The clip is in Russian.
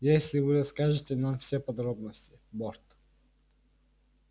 если вы расскажете нам все подробности борт